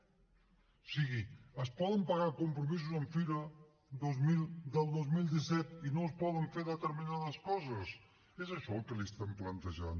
o sigui es poden pagar compromisos amb fira dos mil del dos mil disset i no es poden fer determinades coses és això el que li estem plantejant